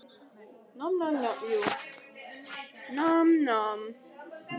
Antoníus, spilaðu lagið „Dansinn lifir stritið“.